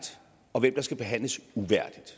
og hvem der skal behandles uværdigt